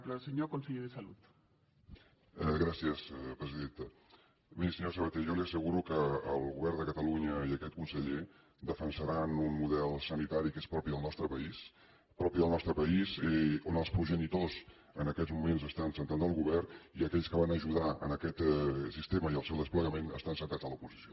miri senyor sabaté jo li asseguro que el govern de catalunya i aquest conseller defensaran un model sanitari que és propi del nostre país i de què els progenitors en aquests moments estan asseguts al govern i aquells que van ajudar aquest sistema i el seu desplegament estan asseguts a l’oposició